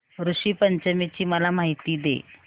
ऋषी पंचमी ची मला माहिती दे